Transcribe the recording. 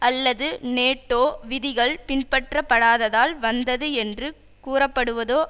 அல்லது நேட்டோ விதிகள் பின்பற்றப்படாததால் வந்தது என்று கூறப்படுவதோ